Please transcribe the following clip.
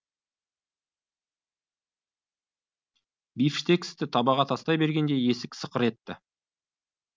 бифштексті табаға тастай бергенде есік сықыр етті